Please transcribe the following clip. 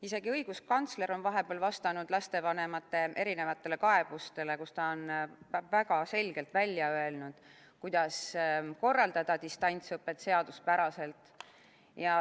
Isegi õiguskantsler on vahepeal vastanud lastevanemate erinevatele kaebustele, kus ta on väga selgelt välja öelnud, kuidas korraldada distantsõpet seaduspäraselt.